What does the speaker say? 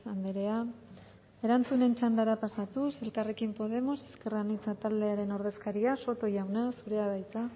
andrea erantzunen txandara pasatuz elkarrekin podemos ezker anitza taldearen ordezkaria soto jauna zurea da hitza